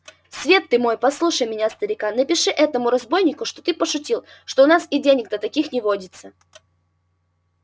свет ты мой послушай меня старика напиши этому разбойнику что ты пошутил что у нас и денег-то таких не водится